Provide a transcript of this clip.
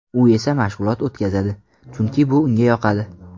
U esa mashg‘ulot o‘tkazadi, chunki bu unga yoqadi.